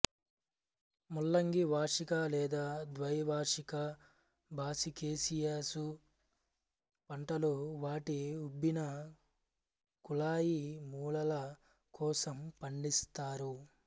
ముల్లంగి వార్షిక లేదా ద్వైవార్షిక బ్రాసికేసియసు పంటలు వాటి ఉబ్బిన కుళాయి మూలాల కోసం పండిస్తారు